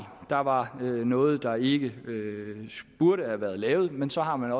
der var noget der ikke burde have været lavet men så har man